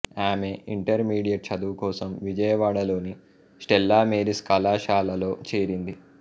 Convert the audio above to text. ఆమె ఇంటర్మీడియట్ చదువుకోసం విజయవాడలోని స్టెల్లా మేరీస్ కళాశాలలో చేరింది